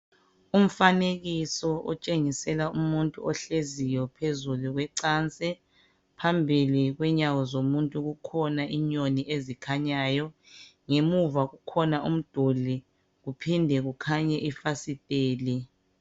Umfanekiso otshengisela umuntu ohleziyo phezulu kwecansi, phambili kwenyawo zomuntu kukhona inyoni ezikhanyayo ngemuva kukhona umduli kuphinde kukhanye ifasiteli.